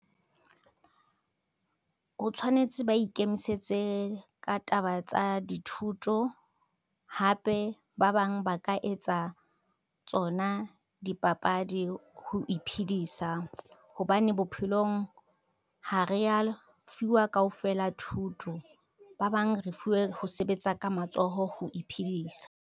Ho tshwanetse ba ikemisetse ka taba tsa dithuto, hape ba bang ba ka etsa, tsona dipapadi ho iphidisa hobane bophelong ha re ya fuwa kaofela thuto ba bang re fuwe ho sebetsa ka matsoho ho iphedisa.